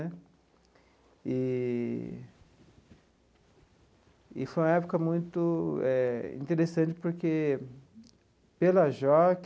Eee e foi uma época muito eh interessante porque, pela JOC,